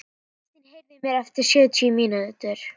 Kristin, heyrðu í mér eftir sjötíu mínútur.